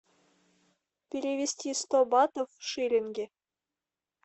перевести сто батов в шиллинги